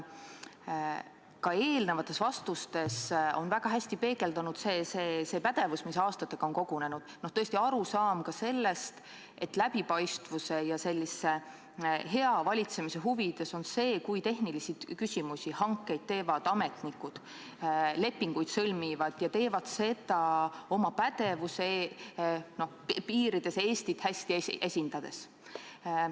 Ka teie eelnevates vastustes on väga hästi peegeldunud see pädevus, mis aastatega on kogunenud – tõesti, arusaam sellest, et läbipaistvuse ja hea valitsemise huvides on see, kui tehnilisi küsimusi lahendavad, hankeid teevad ja lepinguid sõlmivad ametnikud ning nad teevad seda oma pädevuse piirides Eestit hästi esindades.